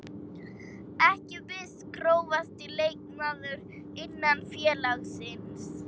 Ekki viss Grófasti leikmaður innan félagsins?